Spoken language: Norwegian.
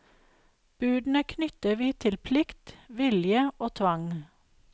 Budene knytter vi til plikt, vilje og tvang.